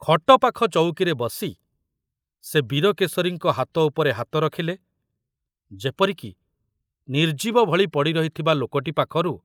ଖଟ ପାଖ ଚଉକିରେ ବସି ସେ ବୀରକେଶରୀଙ୍କ ହାତ ଉପରେ ହାତ ରଖିଲେ ଯେପରିକି ନିର୍ଜୀବ ଭଳି ପଡ଼ିରହିଥିବା ଲୋକଟି ପାଖରୁ